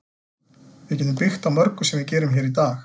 Við getum byggt á mörgu sem við gerum hér í dag.